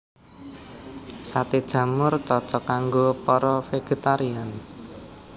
Saté jamur cocok kanggo para végétarian